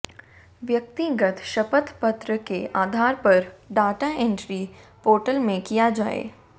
व्यक्तिगत शपथ पत्र के आधार पर डाटा इंट्री पोर्टल में किया जाये